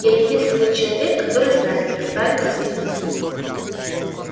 я единственный человек который знает как справиться с кризисом